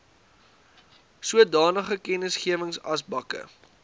sodanige kennisgewings asbakke